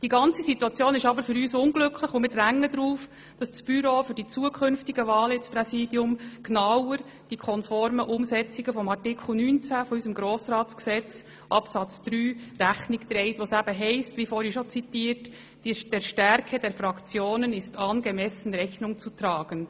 Die ganze Situation ist für uns aber unglücklich, und wir drängen darauf, dass das Büro für die künftigen Wahlen ins Präsidium genauer auf eine konforme Umsetzung von Artikel 20 Absatz 3 unseres Grossratsgesetzes achtet, in dem es, wie vorhin bereits zitiert wurde, heisst: «Der Stärke der Fraktionen ist angemessen Rechnung zu tragen.